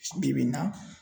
Bi bi in na